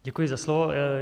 Děkuji za slovo.